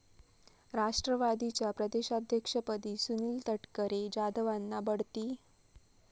राष्ट्रवादीच्या प्रदेशाध्यक्षपदी सुनील तटकरे, जाधवांना बढती?